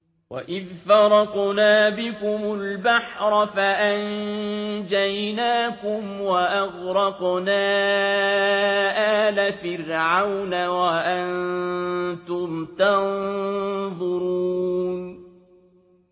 وَإِذْ فَرَقْنَا بِكُمُ الْبَحْرَ فَأَنجَيْنَاكُمْ وَأَغْرَقْنَا آلَ فِرْعَوْنَ وَأَنتُمْ تَنظُرُونَ